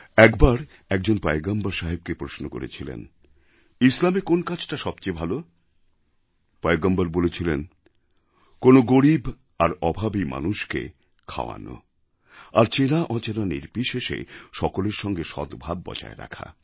একবার একজন পয়গম্বর সাহেবকে প্রশ্ন করেছিল ইসলামে কোন্ কাজটা সবচেয়ে ভালো পয়গম্বর বলেছিলেন কোনও গরীব আর অভাবী মানুষকে খাওয়ানো আর চেনাঅচেনা নির্বিশেষে সকলের সঙ্গে সদ্ভাব বজায় রাখা